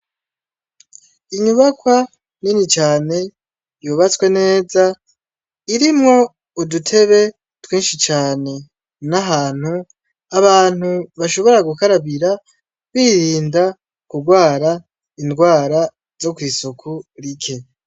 Inyubakwa nini cane yubatswe neza, irimwo udutebe twinshi cane. N'ahantu abantu bashobora gukarabira, birinda kugwara ingwara zo kw'isuku rike.